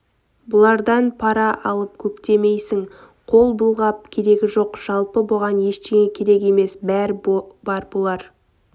бұлардан пара алып көктемейсің қол былғап керегі жоқ жалпы бұған ештеңе керек емес бәр бар бұлар